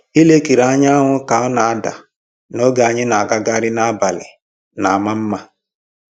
Ilekiri anyanwụ ka ọ na-ada n'oge anyị na-agagharị n'abalị na-ama mma